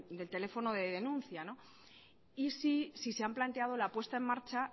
del teléfono de denuncia y si se han planteado la puesta en marcha